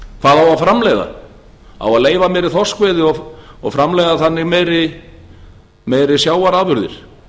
að framleiða á að leyfa meiri þorskveiði og framleiða þannig meiri sjávarafurðir